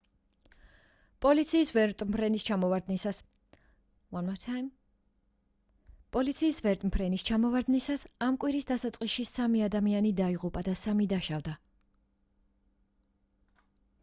პოლიციის ვერტმფრენის ჩამოვარდნისას ამ კვირის დასაწყისში სამი ადამიანი დაიღუპა და სამი დაშავდა